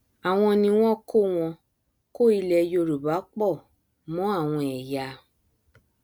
àwọn ni wọn kó wọn kó ilẹ yorùbá pọ mọ àwọn ẹyà